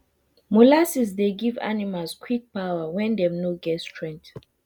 molasses dey give animals quick power when dey no get strength